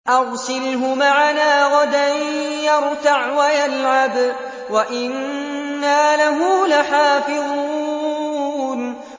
أَرْسِلْهُ مَعَنَا غَدًا يَرْتَعْ وَيَلْعَبْ وَإِنَّا لَهُ لَحَافِظُونَ